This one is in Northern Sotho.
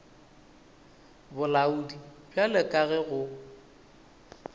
bolaodi bjalo ka ge go